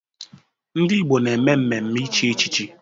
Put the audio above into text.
Ndị Igbo na-eme mmemme ichi echichi.